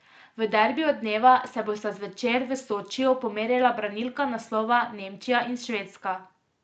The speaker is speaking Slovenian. V derbiju dneva se bosta zvečer v Sočiju pomerila branilka naslova Nemčija in Švedska.